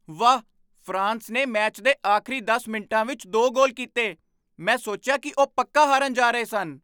ਵਾਹ! ਫਰਾਂਸ ਨੇ ਮੈਚ ਦੇ ਆਖਰੀ ਦਸ ਮਿੰਟਾਂ ਵਿੱਚ ਦੋ ਗੋਲ ਕੀਤੇ! ਮੈਂ ਸੋਚਿਆ ਕਿ ਉਹ ਪੱਕਾ ਹਾਰਨ ਜਾ ਰਹੇ ਸਨ।